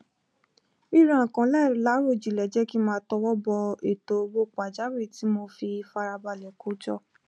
ríra nnkan láìláròjinlẹ jẹ kí n máa tọwọ bọ ètò owó pàjáwìrì tí mo fi farabalẹ kó jọ